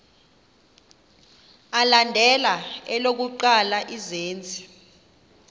alandela elokuqala izenzi